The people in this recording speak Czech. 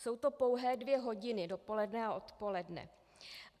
Jsou to pouhé dvě hodiny dopoledne a odpoledne.